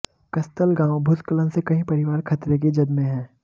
कस्तलगांव भूस्खलन से कई परिवार खतरे की जद में हैं